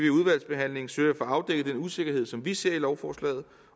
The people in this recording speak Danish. i udvalgsbehandlingen søge at få afdækket den usikkerhed som vi ser i lovforslaget